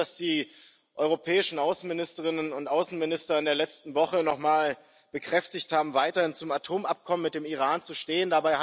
Es ist gut, dass die europäischen Außenministerinnen und Außenminister in der letzten Woche noch mal bekräftigt haben, weiterhin zum Atomabkommen mit dem Iran zu stehen.